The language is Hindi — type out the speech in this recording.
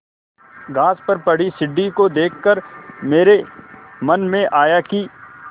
घास पर पड़ी सीढ़ी को देख कर मेरे मन में आया कि